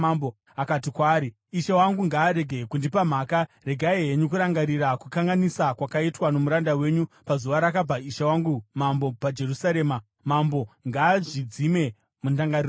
akati kwaari, “Ishe wangu ngaarege kundipa mhaka. Regai henyu kurangarira kukanganisa kwakaitwa nomuranda wenyu pazuva rakabva ishe wangu mambo paJerusarema. Mambo ngaazvidzime mundangariro dzake.